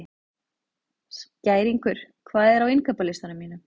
Skæringur, hvað er á innkaupalistanum mínum?